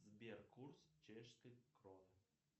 сбер курс чешской кроны